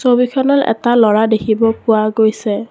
ছবিখনত এটা ল'ৰা দেখিব পোৱা গৈছে।